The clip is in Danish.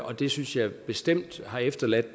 og det synes jeg bestemt har efterladt